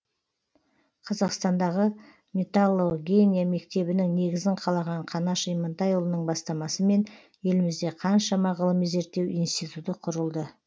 қазақстандағы металлогения мектебінің негізін қалаған қаныш имантайұлының бастамасымен елімізде қаншама ғылыми зерттеу институты құрылды